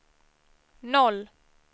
noll